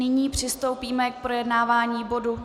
Nyní přistoupíme k projednávání bodu